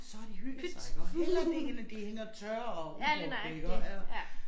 Så har de hygget sig hellere det end at de hænger tørre og ubrugte iggå ja